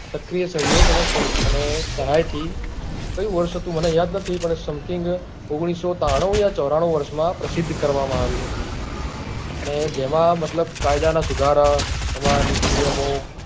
સક્રિય સહયોગ અને સહાય થી કયું વર્ષ હતું મને પણ something ઓગણીસો ત્રાનું યા ચોરાણું વર્ષ માં પ્રસિદ્ધ કરવા માં આવી હતી અને જેમાં અને એજમાં મતલબ કાયદા ના સુધારા એમાં નીતિ નિયમો